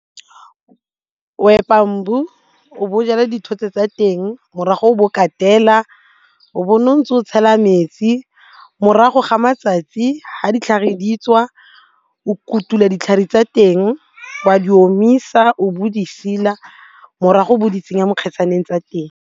O epa o bo o jala dithotse tsa teng morago o bo katela o bo o nne o ntse o tshela metsi, morago ga matsatsi ga ditlhare di tswa o kutula ditlhare tsa teng o a di omisa o bo di morago o bo di tsenya mo kgetsaneng tsa teng.